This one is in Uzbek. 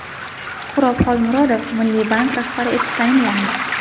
Suhrob Xolmurodov Milliy bank rahbari etib tayinlandi .